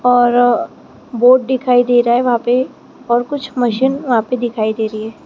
और बोर्ड दिखाई दे रहा है वहां पे और कुछ मशीन वहां पे दिखाई दे रही है।